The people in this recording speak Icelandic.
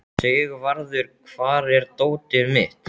Sigvarður, hvar er dótið mitt?